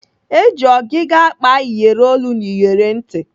Eji ọgịga akpa iyeri olu na iyeri ntị.